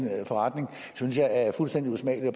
forretning synes jeg er fuldstændig usmagelig